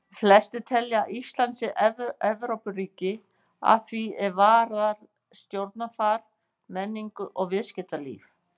Flestir telja að Ísland sé Evrópuríki að því er varðar stjórnarfar, menningu og viðskiptalíf.